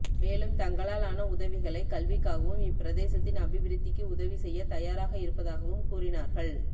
மேலும் தங்களால் ஆன உதவிகளை கல்விக்காகவும் இப்பிரதேசத்தின் அபிவிருத்திக்கு உதவி செய்ய தயாராக இருப்பதாகவும் கூறினார்கள்